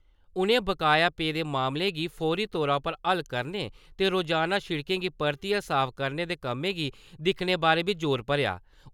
उनें बकाया पेदे मामले गी फौरी तौरा पर हल करने ते रोजाना शिड़के गी परतियें साफ करने दे कम्में गी दिक्खने बारै बी जोर भरेआ।